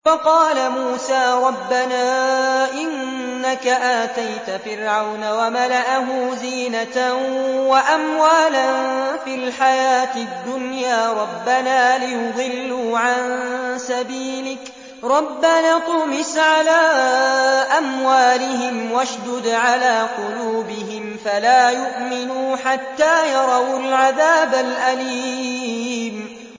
وَقَالَ مُوسَىٰ رَبَّنَا إِنَّكَ آتَيْتَ فِرْعَوْنَ وَمَلَأَهُ زِينَةً وَأَمْوَالًا فِي الْحَيَاةِ الدُّنْيَا رَبَّنَا لِيُضِلُّوا عَن سَبِيلِكَ ۖ رَبَّنَا اطْمِسْ عَلَىٰ أَمْوَالِهِمْ وَاشْدُدْ عَلَىٰ قُلُوبِهِمْ فَلَا يُؤْمِنُوا حَتَّىٰ يَرَوُا الْعَذَابَ الْأَلِيمَ